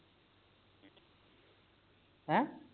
ਹੈ